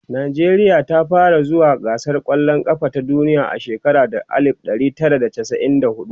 nijeriya ta fara zuwa gasar kwallan kafa ta duniya a shekara ta alif ɗari Tara da chasa'in da huɗu